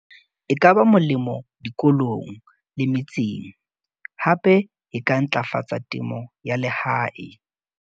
e ka ba molemo dikolong le metseng hape e ka ntlafatsa temo ya lehae.